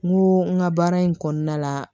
N ko n ka baara in kɔnɔna la